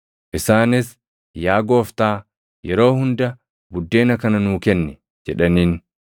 Isaanis, “Yaa Gooftaa, yeroo hunda buddeena kana nuu kenni” jedhaniin.